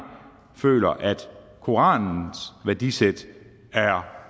føler at koranens værdisæt er